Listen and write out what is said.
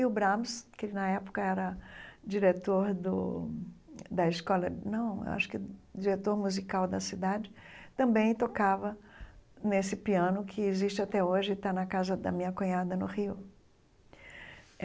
E o Brahms, que na época era diretor do da escola não acho que diretor musical da cidade, também tocava nesse piano que existe até hoje e está na casa da minha cunhada, no Rio.